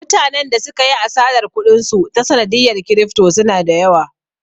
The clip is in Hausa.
Mutanen da suka yi asarar kuɗin su ta sanadiyar kirifto suna da yawa